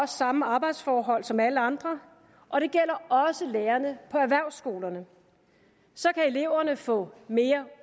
samme arbejdsforhold som alle andre og det gælder også lærerne på erhvervsskolerne og så kan eleverne få mere